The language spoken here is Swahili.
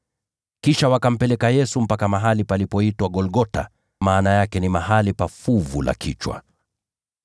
Kisha wakampeleka Yesu mpaka mahali palipoitwa Golgotha (maana yake ni Mahali pa Fuvu la Kichwa).